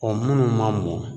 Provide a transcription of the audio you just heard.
minnu ma mɔ